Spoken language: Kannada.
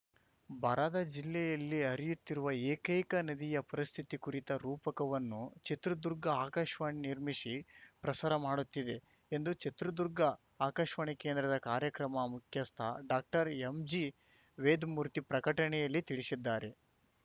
ಬರದ ಜಿಲ್ಲೆಯಲ್ಲಿ ಹರಿಯುತ್ತಿರುವ ಏಕೈಕ ನದಿಯ ಪರಿಸ್ಥಿತಿ ಕುರಿತ ರೂಪಕವನ್ನು ಚಿತ್ರದುರ್ಗ ಆಕಾಶ್ವಾಣಿ ನಿರ್ಮಿಸಿ ಪ್ರಸಾರ ಮಾಡುತ್ತಿದೆ ಎಂದು ಚಿತ್ರದುರ್ಗ ಆಕಾಶ್ವಾಣಿ ಕೇಂದ್ರದ ಕಾರ್ಯಕ್ರಮ ಮುಖ್ಯಸ್ಥ ಡಾಕ್ಟರ್ ಎಂಜಿ ವೇದಮೂರ್ತಿ ಪ್ರಕಟಣೆಯಲ್ಲಿ ತಿಳಿಸಿದ್ದಾರೆ